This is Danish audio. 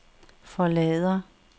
forlader